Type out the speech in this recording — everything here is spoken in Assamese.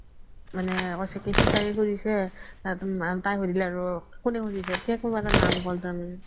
মানে কৈছি কি সিচাৰি খুজিছে তাই সুধিলে আৰু কোনে খুজিছে তেতিয়া কোনবা এটাৰ নাম ক্'লে তাৰ মানে